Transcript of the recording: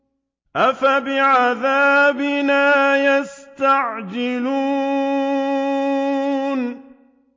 أَفَبِعَذَابِنَا يَسْتَعْجِلُونَ